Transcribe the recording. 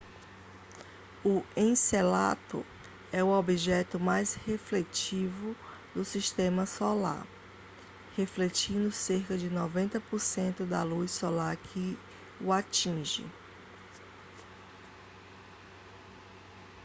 o encélado é o objeto mais refletivo do sistema solar refletindo cerca de 90% da luz solar que o atinge